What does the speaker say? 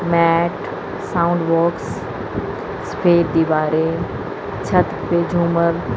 mat sound box सफेद दीवारें छत पे झूमर--